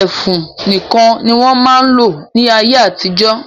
Ẹfun nìkan ni wọ́n máa ń lò ní ayé-àtijọ́.